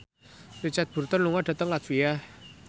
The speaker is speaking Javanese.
Richard Burton lunga dhateng latvia